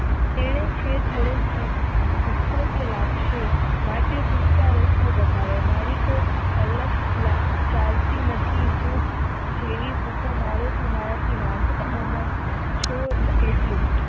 તે છે થોડોક ભુકો થી લાગશે માટે સુકતા રસ્તા બતાવ્યા માટે તે ચાલતી નથી જેવી નથી